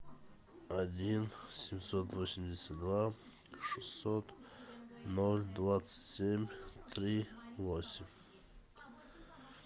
один семьсот восемьдесят два шестьсот ноль двадцать семь три восемь